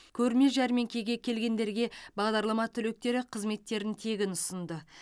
көрме жәрмеңкеге келгендерге бағдарлама түлектері қызметтерін тегін ұсынды